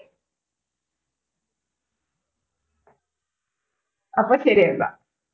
അപ്പൊ ശരി എന്നാ